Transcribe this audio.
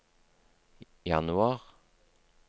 januar